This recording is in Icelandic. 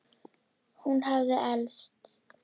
Hún hafði elst.